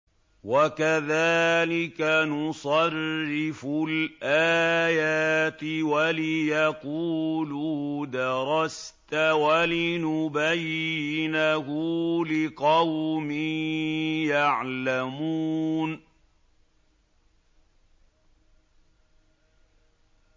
وَكَذَٰلِكَ نُصَرِّفُ الْآيَاتِ وَلِيَقُولُوا دَرَسْتَ وَلِنُبَيِّنَهُ لِقَوْمٍ يَعْلَمُونَ